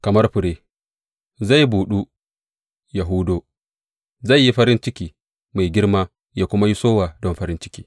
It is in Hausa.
Kamar fure, zai buɗu ya hudo; zai yi farin ciki mai girma ya kuma yi sowa don farin ciki.